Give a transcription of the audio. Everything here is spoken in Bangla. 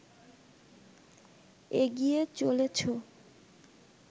এগিয়ে চলেছ